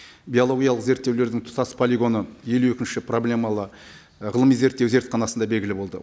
биологиялық зерттеулердің тұтас полигоны елу екінші проблемалы ы ғылыми зерттеу зертханасында белгілі болды